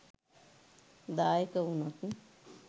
දායක වුණොත්